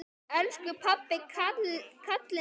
Elsku pabbi, kallið er komið.